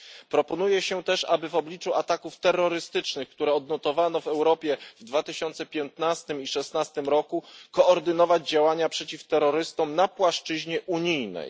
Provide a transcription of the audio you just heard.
Proponuje się też, aby w obliczu ataków terrorystycznych, które odnotowano w Europie w roku 2015 i 2016, koordynować działania przeciw terrorystom na płaszczyźnie unijnej.